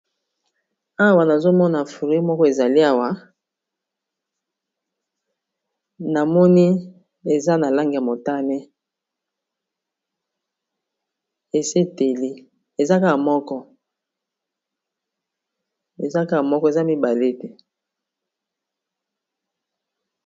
Awa nazomona fruits moko ezali awa namoni eza na langi ya motane esi eteli eza kaka moko eza mibale te.